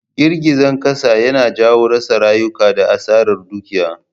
Girgizan Kasa yana janyo rasa rayuka da Asarar Dukiya.